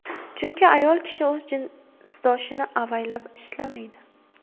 Chunki ayol kishi o‘z jinsdoshini avaylab ishlamaydi.